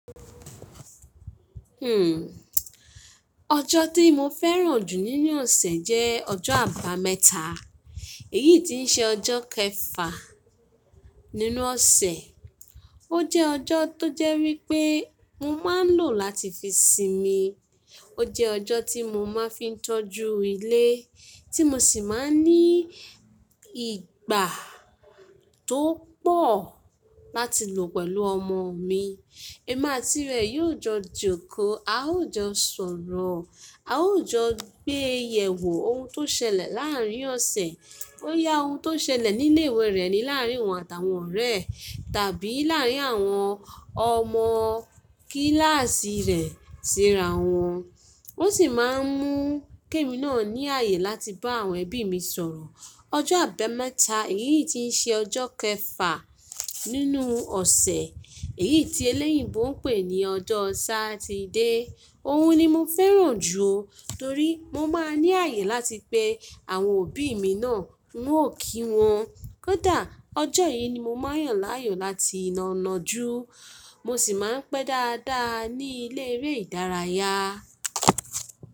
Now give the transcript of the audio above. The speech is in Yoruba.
Hmm ọjọ́ tí mo fẹ́ràn jù nínú ọ̀sẹ̀ jẹ́ ọjọ́ àbámẹ́ta, èyí tí ń ṣe ọjọ́ kẹfà nínú ọ̀sẹ̀. Ó jẹ́ ọjọ́ tó jẹ́ wí pé mo máa ń lò láti fi sinmi, ó jẹ ọjọ́ tí mo máa ń fi tọ́jú ilé tí mo sì máa ń ní ìgbà tó pọ̀ láti lò pẹ̀lú ọmọ mi. Ẹ̀má tí rẹ̀ yóò jọ jókòó, a ó jọ sọ̀rọ̀, a ó jọ gbé ìyẹ̀wò ohun tó ṣẹlẹ̀ láàárín ọ̀sẹ̀, boyá ohun tó ṣẹlẹ̀ ní ilé-ìwé rẹ̀ ni láàárín wọn àtàwọn ọ̀rẹ́ rẹ̀ tàbí láàárín àwọn ọmọ kíláàsì rẹ̀ síra wọn. Ó sì máa ń mú kémi náà ní ààyè láti bá àwọn ẹbí mi sọ̀rọ̀. Ọjọ́ àbámẹ́ta èyí tí ń ṣe ọjọ́ kẹfà nínú ọ̀sẹ̀, èyí tí eléyìnbọ̀ ń pè ní ọjọ́ sáàtídé. Ohun ni mo fẹ́ràn jù torí mo máa ń ní ààyè láti pe àwọn òbí mi náà n wò kí wọn. Kódà ọjọ́ yìí ni mo máa ń yàn láàyò láti lo náájú, mo sì máa ń pẹ́ dáadáa ní ilé eré ìdárayá.